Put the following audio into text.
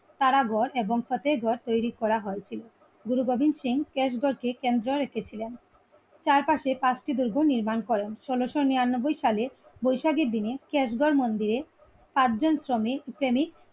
কারাগর এবং ফতেগর তৈরি করা হয়েছিল । গুরু বদন সিং ক্যাশ ঘর কে কেন্দ্রা রেখেছিলেন। চারপাশে পাঁচটি দুর্গ নির্মাণ করেন। উনিসসনিরানব্বই সালে বৈশাখীর দিনে ক্যাশ ঘর মন্দিরে আটজন শ্রমিক প্রেমিক